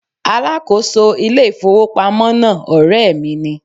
Alákòóso ilé ìfowópamọ́ náà ọ̀rẹ́ mi ni.